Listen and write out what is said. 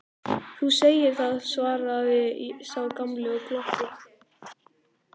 Þú segir það, svaraði sá gamli og glotti.